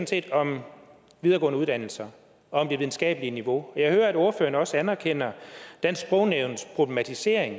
set om videregående uddannelser om det videnskabelige niveau og jeg hører at ordføreren også anerkender dansk sprognævns problematisering